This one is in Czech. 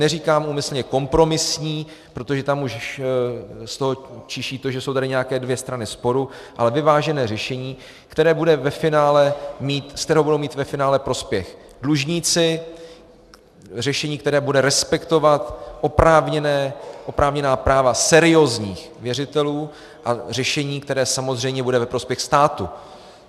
Neříkám úmyslně kompromisní, protože tam už z toho čiší to, že jsou tady nějaké dvě strany sporu, ale vyvážené řešení, z kterého budou mít ve finále prospěch dlužníci, řešení, které bude respektovat oprávněná práva seriózních věřitelů, a řešení, které samozřejmě bude ve prospěch státu.